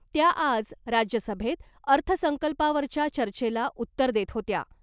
त्या आज राज्यसभेत अर्थसंकल्पावरच्या चर्चेला उत्तर देत होत्या .